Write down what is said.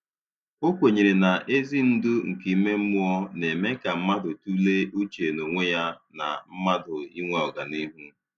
O kwenyere na ezi ndu nke ime mmụọ na - eme ka mmadụ tụlee uche n'onwe ya na mmadụ inwe ọganihu